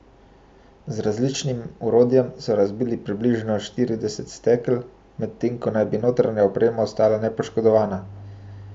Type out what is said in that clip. Z različnim orodjem so razbili približno štirideset stekel, medtem ko naj bi notranja oprema ostala nepoškodovana.